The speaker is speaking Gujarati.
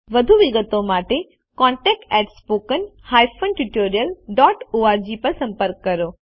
વધુ વિગતો માટે contactspoken tutorialorg પર સંપર્ક કરો